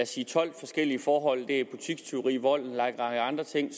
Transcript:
sige tolv forskellige forhold det er butikstyverier vold og en lang række andre ting